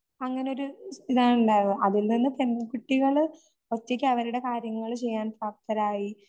അങ്ങനെയൊരു ഇതുണ്ടായിരുന്നു അതിൽനിന്ന് പെൺകുട്ടികള് ഒറ്റയ്ക്ക് അവരുടെ കാര്യങ്ങള് ചെയ്യാൻ പ്രാപ്തരായി